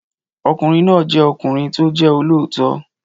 Ọkùnrin náà jẹ́ ọkùnrin tí ó jẹ́ olóòótọ́